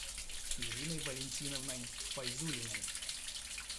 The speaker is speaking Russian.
ириной валентиновной файзуллиной